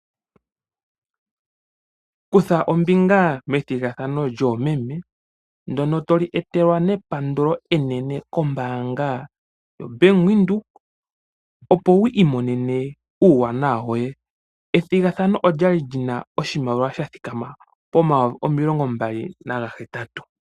Kutha ombinga methigathano lyoomeme ndyono to li etelwa nepandulo enene kombaanga yoBank Windhoek, opo wi imonene uuwanawa woye. Ethhigathano olya li lyi na oshimaliwa sha thikama pomayovi omilongombali nagahetatu.